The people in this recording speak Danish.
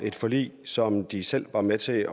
et forlig som de selv var med til at